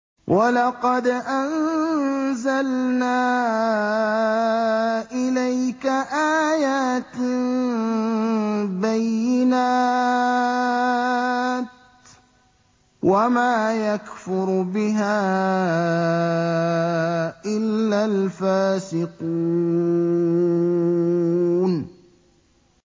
وَلَقَدْ أَنزَلْنَا إِلَيْكَ آيَاتٍ بَيِّنَاتٍ ۖ وَمَا يَكْفُرُ بِهَا إِلَّا الْفَاسِقُونَ